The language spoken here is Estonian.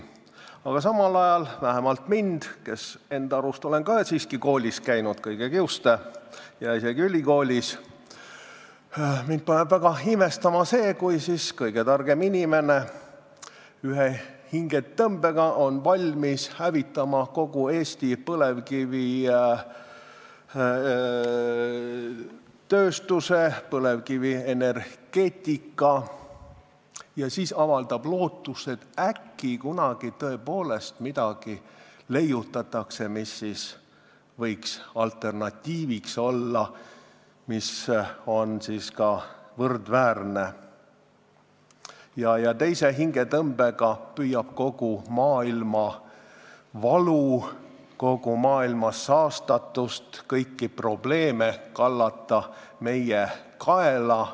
Aga samal ajal vähemalt mind, kes ma enda arust olen ka siiski kõige kiuste koolis käinud ja isegi ülikoolis, paneb väga imestama see, kui kõige targem inimene ühe hingetõmbega on valmis hävitama kogu Eesti põlevkivitööstuse ja põlevkivienergeetika ning siis avaldab lootust, et äkki kunagi tõepoolest leiutatakse midagi võrdväärset, mis võiks alternatiiviks olla, ja teise hingetõmbega püüab kogu maailmavalu, kogu maailma saastatust, kõiki probleeme meie kaela kallata.